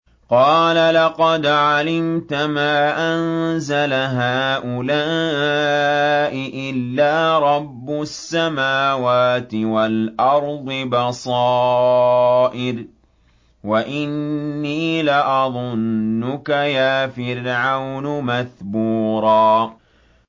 قَالَ لَقَدْ عَلِمْتَ مَا أَنزَلَ هَٰؤُلَاءِ إِلَّا رَبُّ السَّمَاوَاتِ وَالْأَرْضِ بَصَائِرَ وَإِنِّي لَأَظُنُّكَ يَا فِرْعَوْنُ مَثْبُورًا